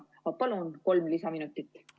Ma palun kolm lisaminutit!